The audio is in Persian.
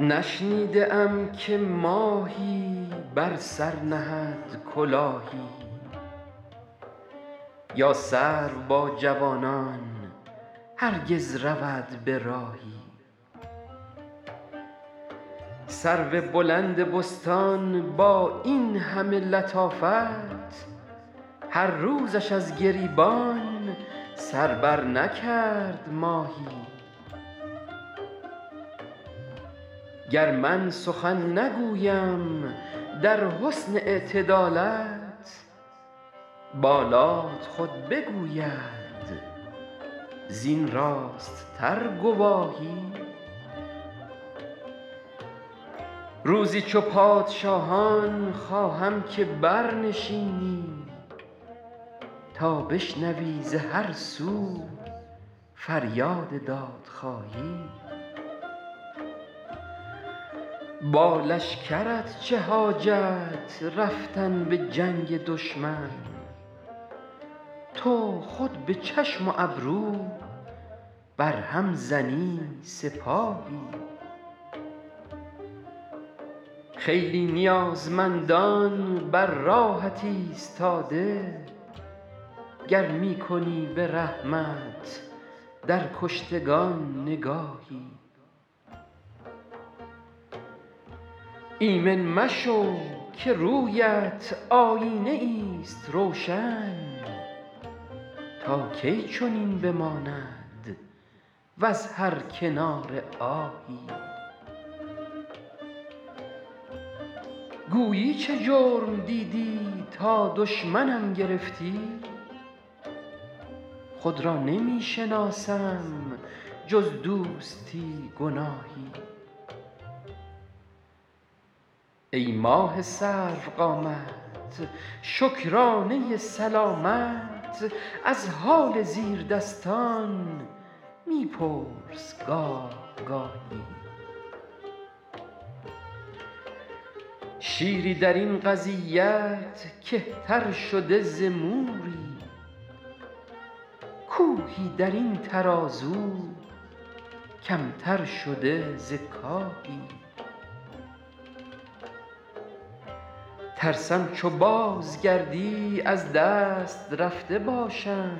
نشنیده ام که ماهی بر سر نهد کلاهی یا سرو با جوانان هرگز رود به راهی سرو بلند بستان با این همه لطافت هر روزش از گریبان سر برنکرد ماهی گر من سخن نگویم در حسن اعتدالت بالات خود بگوید زین راست تر گواهی روزی چو پادشاهان خواهم که برنشینی تا بشنوی ز هر سو فریاد دادخواهی با لشکرت چه حاجت رفتن به جنگ دشمن تو خود به چشم و ابرو بر هم زنی سپاهی خیلی نیازمندان بر راهت ایستاده گر می کنی به رحمت در کشتگان نگاهی ایمن مشو که روی ات آیینه ای ست روشن تا کی چنین بماند وز هر کناره آهی گویی چه جرم دیدی تا دشمنم گرفتی خود را نمی شناسم جز دوستی گناهی ای ماه سرو قامت شکرانه سلامت از حال زیردستان می پرس گاه گاهی شیری در این قضیت کهتر شده ز موری کوهی در این ترازو کم تر شده ز کاهی ترسم چو بازگردی از دست رفته باشم